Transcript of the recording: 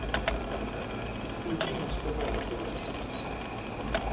включи муз тв на тв